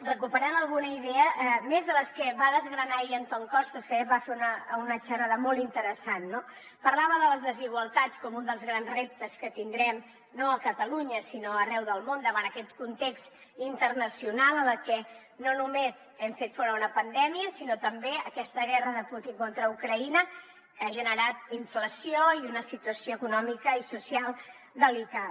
recuperant alguna idea més de les que va desgranar ahir antón costas que va fer una xerrada molt interessant no parlava de les desigualtats com un dels grans reptes que tindrem no a catalunya sinó arreu del món davant aquest context internacional en el que no només hem fet front a una pandèmia sinó també a aquesta guerra de putin contra ucraïna que ha generat inflació i una situació econòmica i social delicada